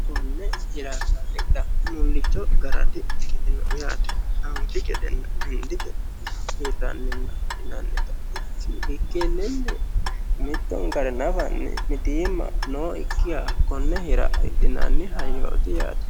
Konne hiranna hidha mulicho gara dikkitino yaate. Anfi gedena hendi gede hirraninna hidhinanniha ikkikkini mittonkare nafa mitiimma nookkiha hidhinanni hayyooti yaate.